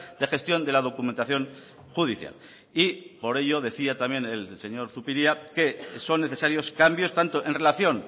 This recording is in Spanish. de gestión de la documentación judicial y por ello decía también el señor zupiria que son necesarios cambios tanto en relación